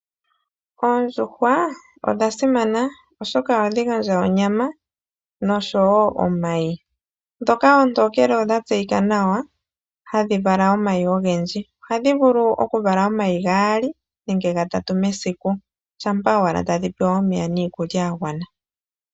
Oondjuhwa odha simana oshoka ohadhi gandja onyama nosho wo omayi, dhoka oontokele odha tseyika nawa hadhi vala omayi ogendji, ohadhi vulu okuvala omayi gaali nenge gatatu mesiku shampa owala tadhi pewa omeya niikulya yagwana.